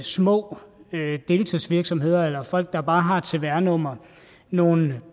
små deltidsvirksomheder eller folk der bare har et cvr nummer nogle